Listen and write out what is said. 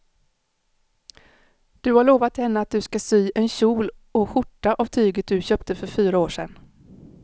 Du har lovat henne att du ska sy en kjol och skjorta av tyget du köpte för fyra år sedan.